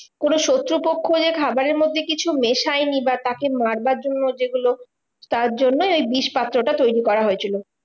কোনো শত্রুপক্ষ যে খাবারের মধ্যে কিছু মেশায়নি বা তাকে মারবার জন্য যেগুলো, তার জন্যই ওই বিষপাত্র তৈরী করা হয়েছিল।